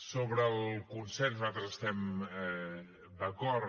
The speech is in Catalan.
sobre el consens nosaltres hi estem d’acord